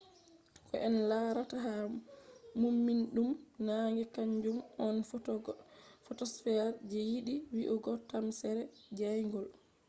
ko en larata ha mumnidum naange kanjum on photosphere je yiɗi wi'ugo tamsere jayngol